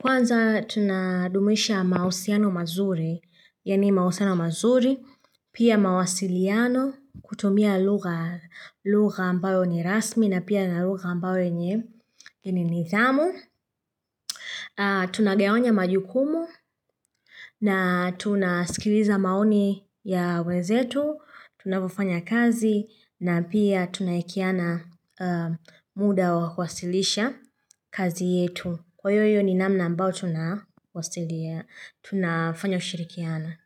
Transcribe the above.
kwanza tunadumisha mausiano mazuri, yani mahusiano mazuri, pia mawasiliano, kutumia lugha ambayo ni rasmi na pia na lugha ambayo yenye ni nithamu. Tunagawanya majukumu na tunasikiliza maoni ya wenzetu, tunavyofanya kazi na pia tunaekeana muda wa kwasilisha kazi yetu. Kwa hiyo hiyo ni namna ambao tunafanya kushirikiana.